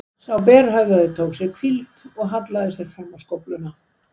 Sá berhöfðaði tók sér hvíld og hallaði sér fram á skófluna.